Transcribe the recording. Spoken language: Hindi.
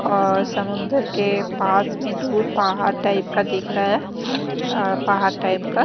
और समुंदर के पास मे दूर पहाड़ टाइप का दिख रहा है अ पहाड़ टाइप का --